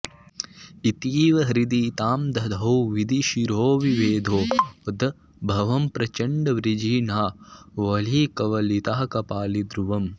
इतीव हृदि तां दधौ विधिशिरोविभेदोद्भवं प्रचण्डवृजिनावलीकवलितः कपाली धुवम्